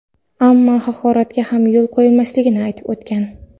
ammo haqoratga ham yo‘l qo‘ymasligini aytib o‘tgan.